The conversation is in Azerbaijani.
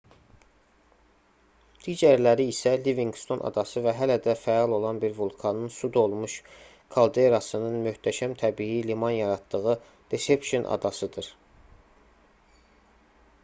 digərləri isə livinqston adası və hələ də fəal olan bir vulkanın su dolmuş kalderasının möhtəşəm təbii liman yaratdığı deception adasıdır